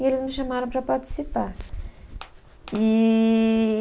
E eles me chamaram para participar. Eee